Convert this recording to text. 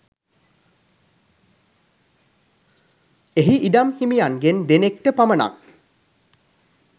එහි ඉඩම් හිමියන්ගෙන් දෙනෙක්ට පමණක්